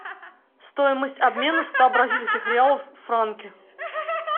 стоимость обмена ста бразильских реалов в франки